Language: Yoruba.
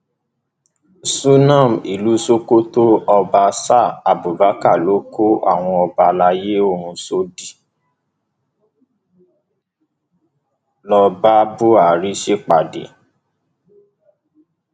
sùnám ìlú sokoto ọba ṣáá abubakar ló kó àwọn ọba àlàyé ọhún sódì lọọ bá buhari ṣèpàdé